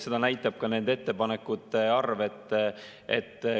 Seda näitab ka nende ettepanekute arv.